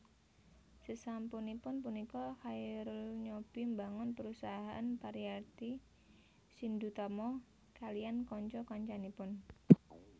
Sasampunipun punika Chairul nyobi mbangun perusahaan Pariarti Shindutama kaliyan kanca kancanipun